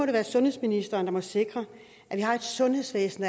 det være sundhedsministeren der må sikre at vi har et sundhedsvæsen